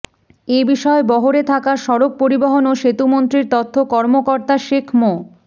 এ বিষয়ে বহরে থাকা সড়ক পরিবহন ও সেতুমন্ত্রীর তথ্য কর্মকর্তা শেখ মো